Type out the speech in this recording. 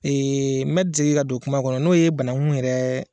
n me segin ka don kuma kɔnɔ n'o ye banaku yɛrɛ.